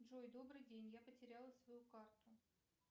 джой добрый день я потеряла свою карту